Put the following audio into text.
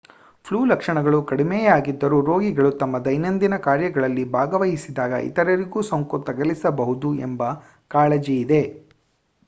flu ಲಕ್ಷಣಗಳು ಕಡಿಮೆಯಾಗಿದ್ದರೂ ರೋಗಿಗಳು ತಮ್ಮ ದೈನಂದಿನ ಕಾರ್ಯಗಳಲ್ಲಿ ಭಾಗವಹಿಸಿದಾಗ ಇತರರಿಗೂ ಸೋಂಕು ತಗಲಿಸಬಹುದು ಎಂಬ ಕಾಳಜಿಯಿದೆ